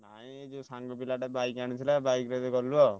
ମୁଁ ଏଇ ଯୋଉ ସାଙ୍ଗ ପିଲାଟା bike ଆଣିଥିଲା bike ରେ ଗଲୁ ଆଉ।